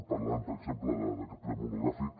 parlant per exemple d’aquest ple monogràfic